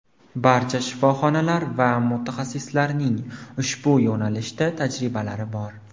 Barcha shifoxonalar va mutaxassislarning ushbu yo‘nalishda tajribalari bor.